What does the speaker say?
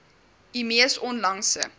u mees onlangse